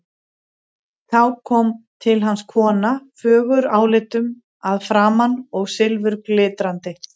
Þá kom til hans kona, fögur álitum að framan og silfurglitrandi.